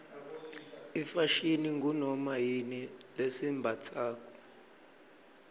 ifashini ngunoma yini lesiyimbatsako